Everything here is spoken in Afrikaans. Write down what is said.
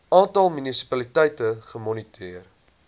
aantal munisipaliteite gemoniteer